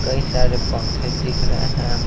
कई सारे पंखे दिख रहे हैं।